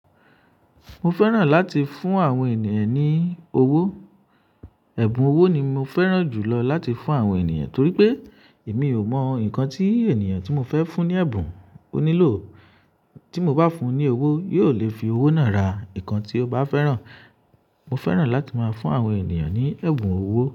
Mo fẹ́ràn láti fún àwọn ènìyàn ní owó. Ẹ̀bùn owó ni mo fẹ́ràn jù lọ láti fún àwọn ènìyàn torí pé èmi ò mọ ǹkan tí ènìyàn tí mo fẹ́ fún ní ẹ̀bùn ó nílò. Tí mo bá fún un ní owó, yóò lè fi owó náà ra ǹkan tí ó bá fẹ́ràn. Mo fẹ́ràn láti máa fún àwọn ènìyàn ní ẹ̀bùn owó.